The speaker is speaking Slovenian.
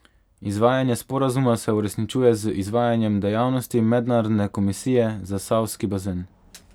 Izvajanje sporazuma se uresničuje z izvajanjem dejavnosti mednarodne komisije za Savski bazen.